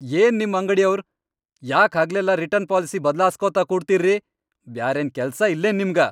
ಯೇನ್ ನಿಮ್ ಅಂಗ್ಡಿಯವ್ರ್ ಯಾಕ್ ಹಗಲೆಲ್ಲಾ ರಿಟರ್ನ್ ಪಾಲಿಸಿ ಬದ್ಲಾಸ್ಕೋತ ಕೂಡ್ತೀರ್ರಿ.. ಬ್ಯಾರೇನ್ ಕೆಲ್ಸ ಇಲ್ಲೇನ್ ನಿಮ್ಗ?!